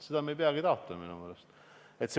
Seda me ei peagi taotlema!